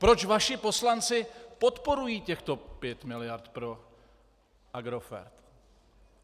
Proč vaši poslanci podporují těchto pět miliard pro Agrofert?